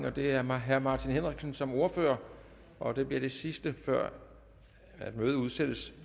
og det er herre martin henriksen som ordfører og det bliver det sidste før mødet udsættes